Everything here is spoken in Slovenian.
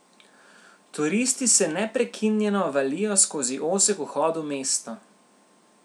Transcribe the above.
Turisti se neprekinjeno valijo skozi ozek vhod v mesto.